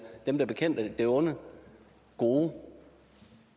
dem der bekæmper det onde gode